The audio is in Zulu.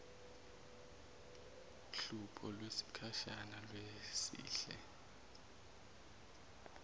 hlupho lwesikhashana lwehlise